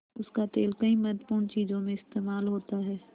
उसका तेल कई महत्वपूर्ण चीज़ों में इस्तेमाल होता है